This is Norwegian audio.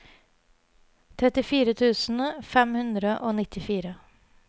trettifire tusen fem hundre og nittifire